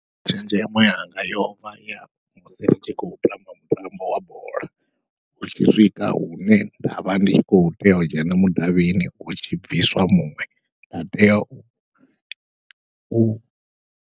Tshenzhemo yanga yovha ya musi ndi tshi khou tamba mutambo wa bola hu tshi swika hune ndavha ndi khou tea u dzhena mudavhini hutshi bviswa muṅwe nda tea u.